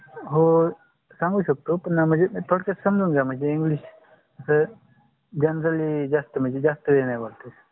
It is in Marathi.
हो सांगू शकतो पण म्हणजे समजून ग्या. म्हणजे english generally जास्त म्हणजे जास्त वेळ नाही बोलता